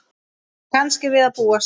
Kannski við að búast.